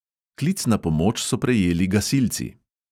Klic na pomoč so prejeli gasilci.